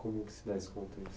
Como se dá esse contexto?